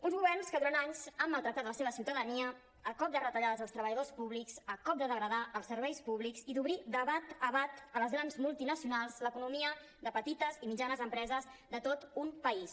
uns governs que durant anys han maltractat la seva ciutadania a cop de retallades dels treballadors públics a cop de degradar els serveis públics i d’obrir de bat a bat a les grans multinacionals l’economia de petites i mitjanes empreses de tot un país